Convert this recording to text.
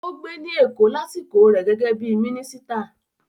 Ó gbé ní Èkó lásìkò rẹ̀ gẹ́gẹ́ bí i mínísítà.